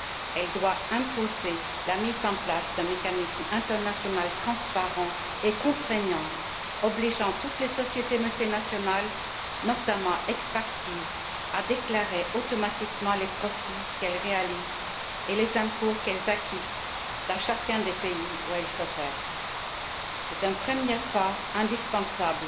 Elle doit imposer la mise en place d'un mécanisme international transparent et contraignant, obligeant toutes les sociétés multinationales, notamment extractives, à déclarer automatiquement les profits qu'elles réalisent et les impôts qu'elles acquittent dans chacun des pays où elles opèrent. C'est un premier pas indispensable